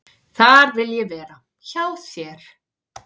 """Þar vil ég vera, hjá þér."""